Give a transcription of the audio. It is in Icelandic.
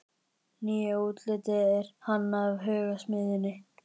Nýja útlitið er hannað af Hugsmiðjunni.